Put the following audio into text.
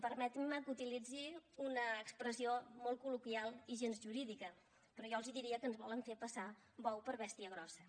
permetinme que utilitzi una expressió molt col·loquial i gens jurídica però jo els diria que ens volen fer passar bou per bèstia grossa